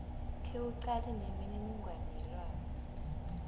khewuqale nemininingwana yelwazi